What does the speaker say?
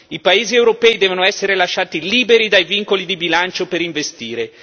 I paesi europei devono essere lasciati liberi dai vincoli di bilancio per investire.